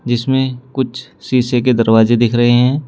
इसमें कुछ शीशे के दरवाजे दिख रहे हैं।